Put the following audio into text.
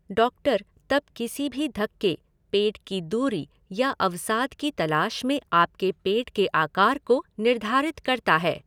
Doctor तब किसी भी धक्के, पेट की दूरी या अवसाद की तलाश में आपके पेट के आकार को निर्धारित करता है।